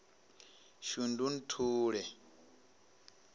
shundunthule